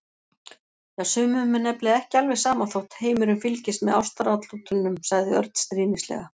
Já, sumum er nefnilega ekki alveg sama þótt heimurinn fylgist með ástaratlotunum sagði Örn stríðnislega.